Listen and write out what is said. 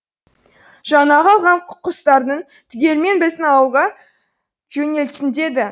жаңағы алған құстарын түгелімен біздің ауылға жөнелтсін деді